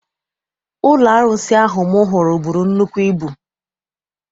Ụlọ arụsị ahụ m hụrụ buru nnukwu ibu.